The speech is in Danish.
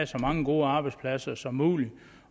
så mange gode arbejdspladser som muligt